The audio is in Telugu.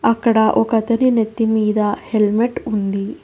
అక్కడ ఒక అతని నెత్తిమీద హెల్మెట్ ఉంది.